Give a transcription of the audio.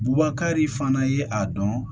Bubakari fana ye a dɔn